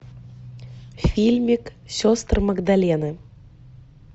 фильмик сестры магдалены